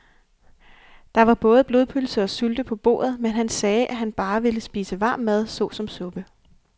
Der var både blodpølse og sylte på bordet, men han sagde, at han bare ville spise varm mad såsom suppe.